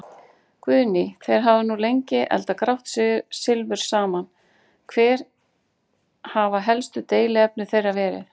Guðný: Þeir hafa nú lengi eldað grátt silfur saman, hver hafa helstu deiluefni þeirra verið?